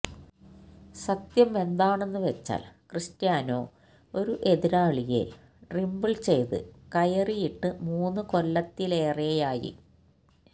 സത്യം എന്താണെന്നുവെച്ചാൽ ക്രിസ്റ്റ്യാനോ ഒരു എതിരാളിയെ ഡ്രിബിൾ ചെയ്ത് കയറിയിട്ട് മൂന്ന് കൊല്ലത്തിലേറെയായി